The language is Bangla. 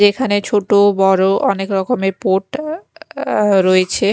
এখানে ছোট ও বড় অনেক রকমের পোট আ আ রয়েছে।